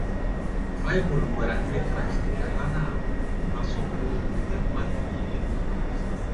Baịbụl gwara Ndị Kraịst ka ha na - asọpụrụ ụdị mmadụ niile.